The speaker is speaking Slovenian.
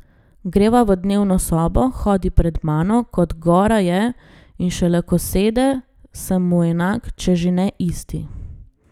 Greva v dnevno sobo, hodi pred mano, kot gora je, in šele ko sede, sem mu enak, če že ne isti.